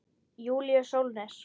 Júlíus Sólnes.